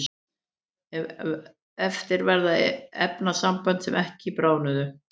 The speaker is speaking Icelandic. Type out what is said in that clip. eftir verða efnasambönd sem ekki bráðnuðu